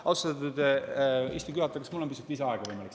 Austatud istungi juhataja, kas mul on võimalik saada pisut lisaaega?